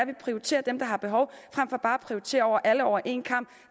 vi prioriterer dem der har behov frem for bare at prioritere alle over en kam